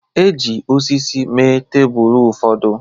E ji osisi mee tebụl ụfọdụ